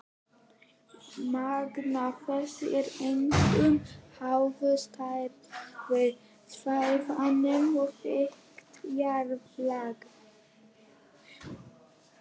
Magn þess er einkum háð stærð svæðanna og þykkt jarðlaga.